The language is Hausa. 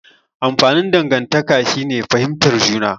Amfanin dangantaka shine fihimtar juna.